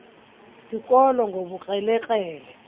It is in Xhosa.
sikolo ngobukrele krele